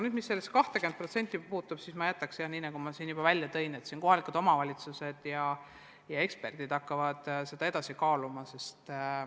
Mis sellesse 20% puutub, siis ma jääks selle juurde, nii nagu ma juba välja tõin, et kohalikud omavalitsused ja eksperdid hakkavad kaaluma.